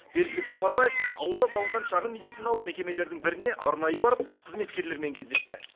бердібек сапарбаев ауылда салынған шағын медициналық мекемелердің біріне арнайы барып қызметкерлермен кездесті